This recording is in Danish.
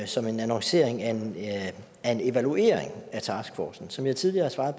som en annoncering af af en evaluering af taskforcen som jeg tidligere har svaret